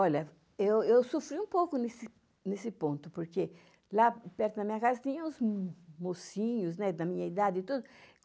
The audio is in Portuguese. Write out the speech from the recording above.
eu eu sofri um pouco nesse nesse ponto, porque lá perto da minha casa tinha uns mocinhos da minha idade e tudo.